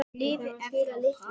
Lifi Evrópa.